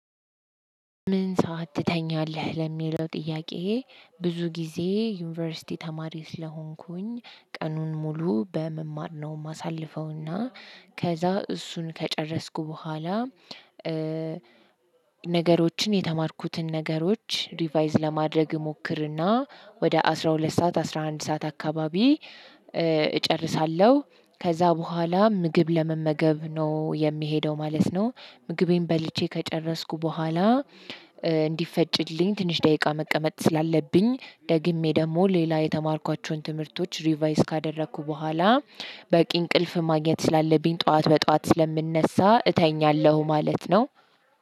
ምን ሰዒት ትተኛለህ? ለሚለው ጥያቄ ብዙ ጊዜ ዩኒቨርሲቲ ተማሪ ስለሆንኩኝ ቀኑን ሙሉ በመማር ነው ማሳልፈውና ከዛ እሱን ከጨረስኩ በኋላ ነገሮችን የተማርኩትን ነገሮች ሪቫይዝ ለማድረግ እሞክርና ወደ አስራ ሁለት ሰዓት አስራ አንድ ሰዓት አካባቢ እጨርሳለሁ። ከዛ በኋላ ምግብ ለመመገብ ነው የምሄደው ማለት ነው። ምግቤን በልቼ ከጨረስኩ በኋላ እንዲፈጭልኝ ትንሽ ደቂቃ መቀመጥ ስላለብኝ ደግሜ ደግሞ ሌላ የተማርኳቸውን ትምህርቶች ሪቫይዝ ካደረኩ በኋላ በቂ እንቅልፍ ማግኘት ስላለብኝ ጠዋት በጠዋት ስለምነሳ እተኛለሁ ማለት ነው።